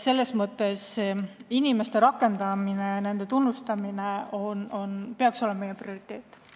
Selles mõttes peaks inimeste rakendamine ja tunnustamine olema meie prioriteet.